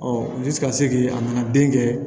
ka segi a nana den kɛ